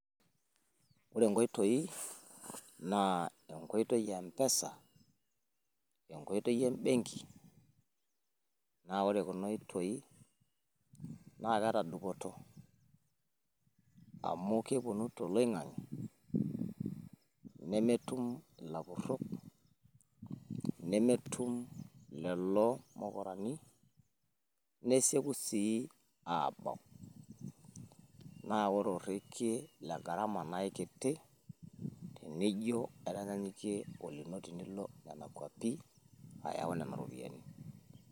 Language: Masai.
Ore inkoitoi naa enkoitoi empesa, enkoitoi embenki naa ore kuna oitoi naa keeta dupoto amu kepuonu toloingange nemetum ilapurok nemetum lelo mukurani neseieku siii aabau naa ore orekie le garama naa eikiti tenijio aitanyaanyukie olino tenilo nena kuapi ayau nena ropiyiani.